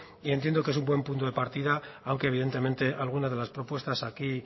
entiendo que es un buen punto de partida aunque evidentemente algunas de las propuestas aquí